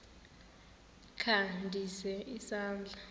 kha ndise isandla